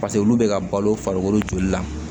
paseke olu be ka balo farikolo joli la